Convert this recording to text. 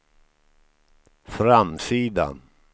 framsida